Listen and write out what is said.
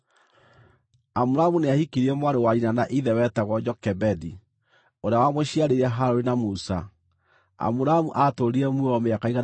Amuramu nĩahikirie mwarĩ wa nyina na ithe wetagwo Jokebedi, ũrĩa wamũciarĩire Harũni na Musa. Amuramu aatũũrire muoyo mĩaka 137.